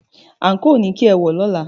Àǹkóò ni kí ẹ wọ̀ wá lọ́la!